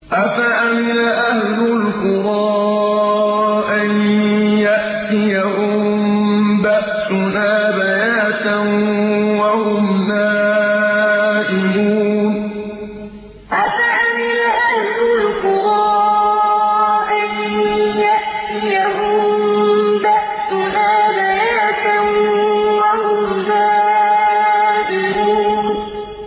أَفَأَمِنَ أَهْلُ الْقُرَىٰ أَن يَأْتِيَهُم بَأْسُنَا بَيَاتًا وَهُمْ نَائِمُونَ أَفَأَمِنَ أَهْلُ الْقُرَىٰ أَن يَأْتِيَهُم بَأْسُنَا بَيَاتًا وَهُمْ نَائِمُونَ